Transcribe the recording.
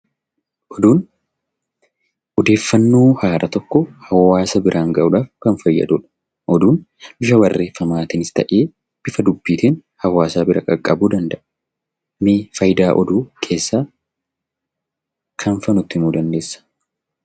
Oduun; ooddeeffannoo haaraa tokko hawaasa biraan ga'udhaaf Kan faayyaduudha. Oduun bifa barreeffamattinis ta'e bifa duubbittin hawaasa biraa qaqqabbuu danda'a. Mee faayidaa oduu keessa kam fa'a nutti him muuziqaa dandeessa?